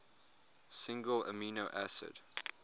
single amino acid